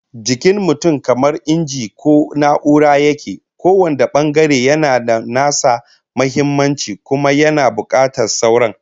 Jikin mutum kamar inji ko na'ura yake, kowane bangare yana da nasa muhimmancin kuma yana bukatar sauran